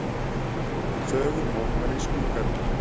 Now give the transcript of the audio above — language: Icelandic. Þögul mótmæli í skrúðgarðinum